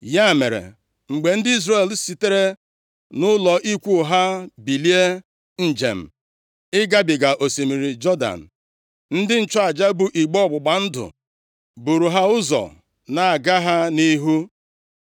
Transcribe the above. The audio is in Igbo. Ya mere, mgbe ndị Izrel sitere nʼụlọ ikwu ha bilie njem ịgabiga osimiri Jọdan, ndị nchụaja bụ igbe ọgbụgba ndụ buuru ha ụzọ na-aga ha nʼihu.